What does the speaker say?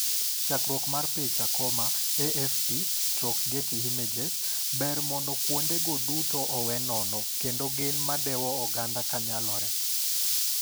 Chakruok mar picha, AFP/Getty Images. "Ber mondo kuondego dutoowe nono kendo gin madewo oganda kanyalore."